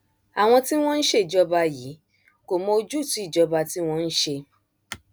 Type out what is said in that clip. àwọn tí wọn ń ṣèjọba yìí kò mọ ojútùú ìjọba tí wọn ń ṣe